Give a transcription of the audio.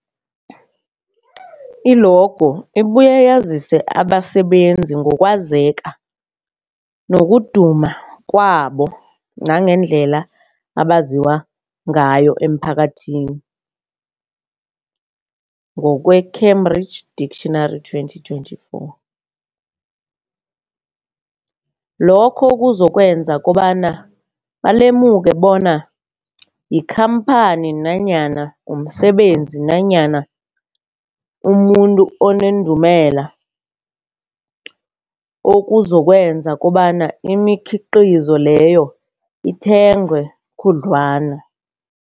I-logo ibuye yazise abasebenzisi ngokwazeka nokuduma kwabo nangendlela abaziwa ngayo emphakathini, ngokwe Cambridge Dictionary 2024. Lokho kuzokwenza kobana balemuke kobana yikhamphani nanyana umsebenzi nanyana umuntu onendumela, okuzokwenza kobana imikhiqhizo leyo ithengwe khudlwana.